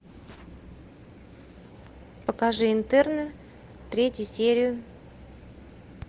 покажи интерны третью серию